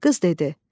Qız dedi: